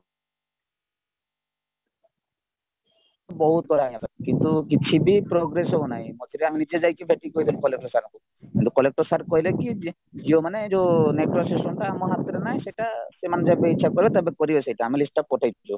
ବହୁତ କରାହେଇଗଲା କିନ୍ତୁ କିଛିବି progress ହଉନାହିଁମଝିରେ ଆମେ ନିଜେଯାଇକି ଦେଖିକି କହିଥିଲୁ collector sir ଙ୍କୁ କିନ୍ତୁ collector sir କହିଲେକି ଯେଉଁମାନେ ଯୋଉ network system ଟା ଆମ ହାତରେ ନାହିଁ ସେଟା ସେମାନେ ଯେବେ ଇଛା କରିବେ ତେବେ କରିବେ ସେଟା ଆମେ list ପଠେଇଛୁ